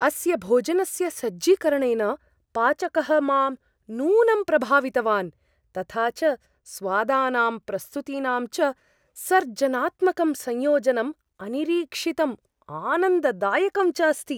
अस्य भोजनस्य सज्जीकरणेन पाचकः मां नूनं प्रभावितवान्, तथा च स्वादानां, प्रस्तुतीनां च सर्जनात्मकं संयोजनम् अनिरीक्षितम्, आनन्ददायकं च अस्ति।